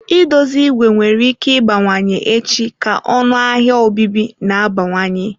I dozi ìgwè nwere ike ịbawanye echi ka ọnụ ahịa obibi na-abawanye.